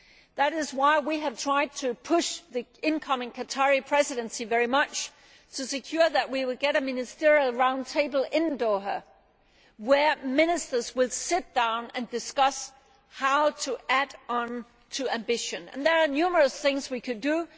That is why we have tried to push the incoming Qatari Presidency very much to secure that we will get a ministerial round table in Doha where ministers will sit down and discuss how to add on to ambition, and there are numerous things we could do.